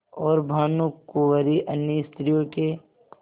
और भानुकुँवरि अन्य स्त्रियों के